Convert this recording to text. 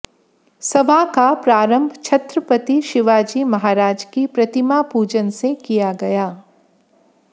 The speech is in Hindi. सभा का प्रारंभ छत्रपति शिवाजी महाराज की प्रतिमा पूजन से किया गया